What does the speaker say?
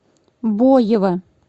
боева